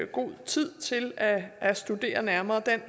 god tid til at at studere nærmere og